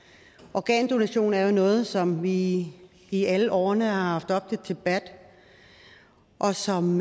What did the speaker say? organdonation er jo noget som vi i alle årene har haft oppe til debat og som